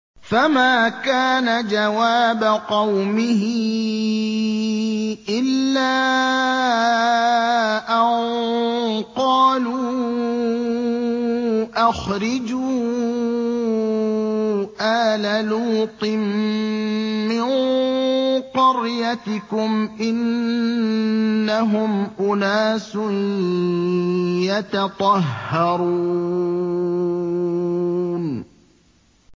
۞ فَمَا كَانَ جَوَابَ قَوْمِهِ إِلَّا أَن قَالُوا أَخْرِجُوا آلَ لُوطٍ مِّن قَرْيَتِكُمْ ۖ إِنَّهُمْ أُنَاسٌ يَتَطَهَّرُونَ